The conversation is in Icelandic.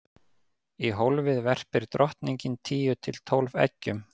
í hólfið verpir drottningin tíu til tólf eggjum